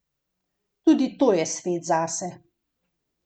Tudi to je svet zase.